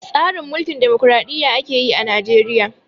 Tsarin Mulkin damokraɗiyya ake yi a Najeriya.